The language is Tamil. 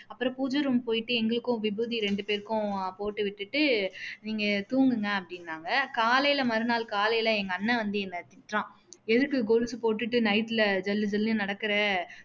அப்பறம் பூஜை room போயிட்டு எங்களுக்கும் விபூதி ரெண்டு பேருக்கும் போட்டு விட்டுட்டு நீங்க தூங்குங்க அப்படின்னாங்க காலையில மறுநாள் காலையில எங்க அண்ணன் வந்து என்னைய திட்டுறான் எதுக்கு கொலுசு போட்டுட்டு night ல ஜல்லு ஜல்லுன்னு நடக்குற